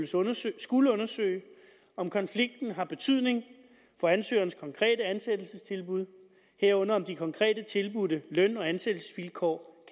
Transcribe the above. således skulle undersøge om konflikten har betydning for ansøgerens konkrete ansættelsestilbud herunder om de konkrete tilbudte løn og ansættelsesvilkår